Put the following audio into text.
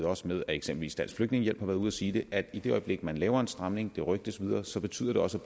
også med at eksempelvis dansk flygtningehjælp har været ude at sige det at i det øjeblik man laver en stramning og det rygtes videre betyder det også